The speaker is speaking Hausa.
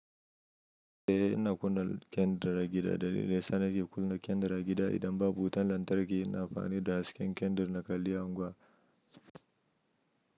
Eh ina kunna kyandir a gida dalilin da yasa nake kunna kyandir a gida idan babu wutan lantarki ina amfani da hasken kyandir na kalli anguwa.